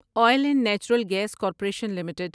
oil and natural gas corporation limited